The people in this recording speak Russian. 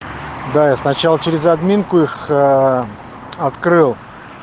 да я сначала через админку их открыл